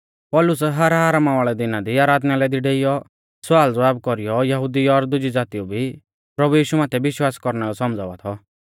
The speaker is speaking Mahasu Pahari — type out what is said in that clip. पौलुस हर आरामा वाल़ै दिना दी आराधनालय दी डेइयौ सवालज़वाब कौरीयौ यहुदिऊ और दुजी ज़ातिऊ भी प्रभु यीशु माथै विश्वास कौरना लै सौमझ़ावा थौ